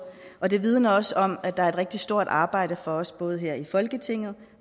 og det vidner også om at der er et rigtig stort arbejde for os både her i folketinget